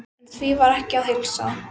En því var ekki að heilsa.